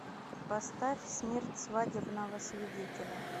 поставь смерть свадебного свидетеля